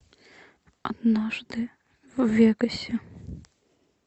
однажды в вегасе